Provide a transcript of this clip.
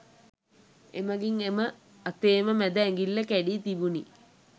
එමගින් එම අතේම මැද ඇඟිල්ල කැඩී තිබුණි